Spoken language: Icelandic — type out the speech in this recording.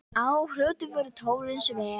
Á Hrúti voru tólin sver.